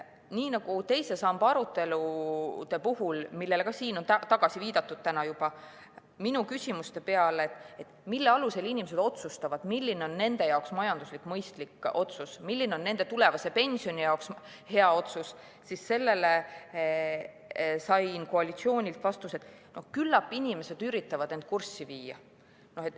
Nii nagu ka teise samba arutelude puhul, millele siin on juba täna viidatud: minu küsimuste peale, mille alusel inimesed otsustavad, milline on nende jaoks majanduslikult mõistlik otsus, milline on nende tulevase pensioni jaoks hea otsus, sain koalitsioonilt vastuse, et küllap inimesed üritavad end kurssi viia.